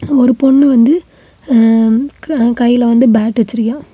ஒரு பொண்ணு க் வந்து கையில வந்து பேட் வச்சிருக்கியா.